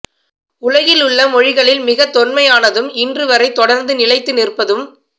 உலகிலுள்ள மொழிகளில் மிகத் தொன்மையானதும் இன்று வரை தொடர்ந்து நிலைத்து நிற்பதும்